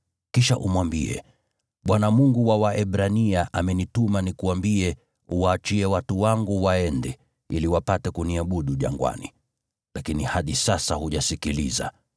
Kisha umwambie, ‘ Bwana , Mungu wa Waebrania, amenituma nikuambie: Waachie watu wangu waende, ili wapate kuniabudu jangwani. Lakini hadi sasa hujasikiliza.